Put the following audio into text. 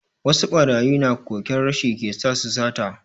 Wasu barayin na koken rashi ke sa su sata.